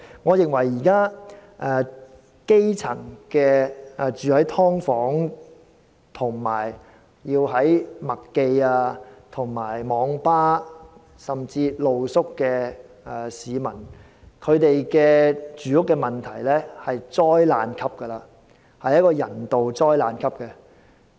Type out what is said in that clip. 我認為，現時居於"劏房"，以及棲宿於麥當勞快餐店、網吧及街頭的基層市民的住屋問題在人道層面屬災難級別。